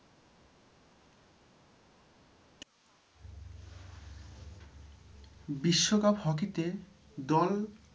বিশ্বকাপ hockey তে দল,